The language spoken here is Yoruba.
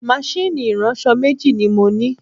Máṣíìnì ìránṣọ̀ méjì ni mo ní